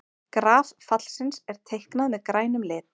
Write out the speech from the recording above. Graf fallsins er teiknað með grænum lit.